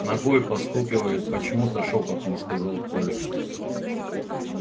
ногой постукивает почему то шёпотом сказал коля